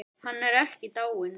Hann er ekki dáinn.